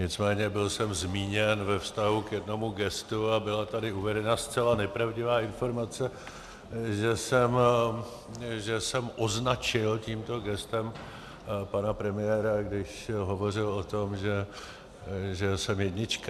Nicméně byl jsem zmíněn ve vztahu k jednomu gestu a byla tady uvedena zcela nepravdivá informace, že jsem označil tímto gestem pana premiéra, když hovořil o tom, že jsem jednička.